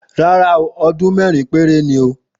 Ràrá o,òdún merin pẹrẹ ni o